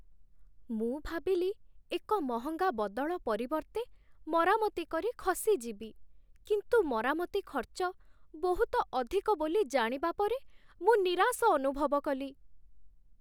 ମୁଁ ଭାବିଲି ଏକ ମହଙ୍ଗା ବଦଳ ପରିବର୍ତ୍ତେ ମରାମତି କରି ଖସିଯିବି, କିନ୍ତୁ ମରାମତି ଖର୍ଚ୍ଚ ବହୁତ ଅଧିକ ବୋଲି ଜାଣିବା ପରେ ମୁଁ ନିରାଶ ଅନୁଭବ କଲି।